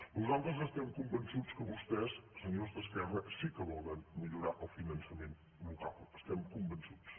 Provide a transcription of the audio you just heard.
nosaltres estem convençuts que vostès senyors d’esquerra sí que volen millorar el finançament local n’estem convençuts